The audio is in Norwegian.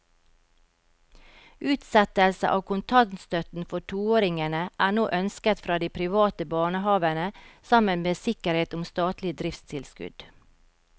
Utsettelse av kontantstøtten for toåringene er nå ønsket fra de private barnehavene sammen med sikkerhet om statlig driftstilskudd.